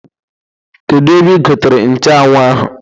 Kedu ebe igotere nchuanwụ ahụ?